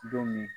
Don min